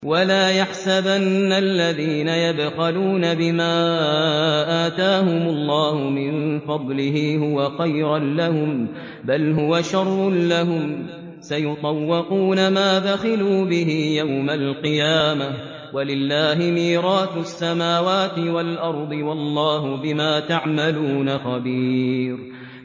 وَلَا يَحْسَبَنَّ الَّذِينَ يَبْخَلُونَ بِمَا آتَاهُمُ اللَّهُ مِن فَضْلِهِ هُوَ خَيْرًا لَّهُم ۖ بَلْ هُوَ شَرٌّ لَّهُمْ ۖ سَيُطَوَّقُونَ مَا بَخِلُوا بِهِ يَوْمَ الْقِيَامَةِ ۗ وَلِلَّهِ مِيرَاثُ السَّمَاوَاتِ وَالْأَرْضِ ۗ وَاللَّهُ بِمَا تَعْمَلُونَ خَبِيرٌ